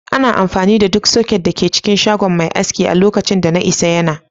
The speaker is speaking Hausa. Ana amfani da duk soket da ke cikin shagon mai aski a lokacin da na isa yana.